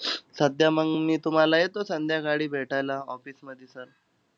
सध्या मंग, मी तुम्हाला येतो संध्याकाळी भेटायला office मधी sir